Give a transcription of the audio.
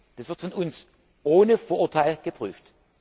Das wird von uns ohne Vorurteil geprüft.